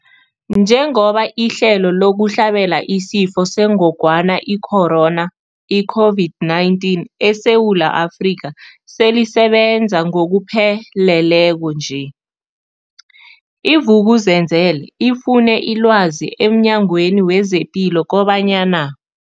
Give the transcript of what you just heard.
Njengoba ihlelo lokuhlabela isiFo sengogwana i-Corona, i-COVID-19, eSewula Afrika selisebenza ngokupheleleko nje, i-Vuk'uzenzele ifune ilwazi emNyangweni wezePilo kobanyana.